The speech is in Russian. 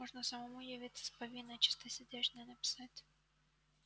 можно самому явиться с повинной чистосердечное написать